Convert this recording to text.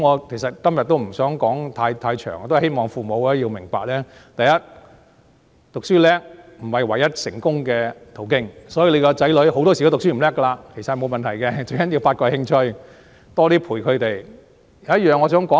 其實，我今天不想說太多，我希望父母明白，讀書好不是唯一成功的途徑，所以子女成績不好，沒有問題，最重要是發掘興趣，多些陪伴他們。